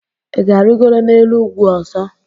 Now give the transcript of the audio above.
Ị ga-arịgoro n'elu ugwu ọzọ?